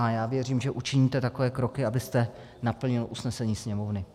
A já věřím, že učiníte takové kroky, abyste naplnil usnesení Sněmovny.